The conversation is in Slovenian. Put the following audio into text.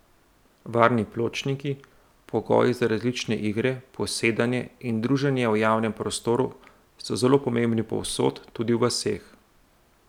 Varni pločniki, pogoji za različne igre, posedanje in druženje v javnem prostoru so zelo pomembni povsod, tudi v vaseh.